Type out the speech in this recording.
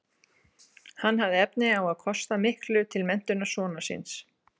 hann hafði efni á að kosta miklu til menntunar sonar síns